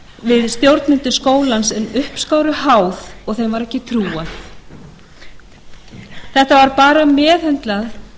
við stjórnendur skólans en uppskáru háð og þeim var ekki trúað þetta var bara meðhöndlað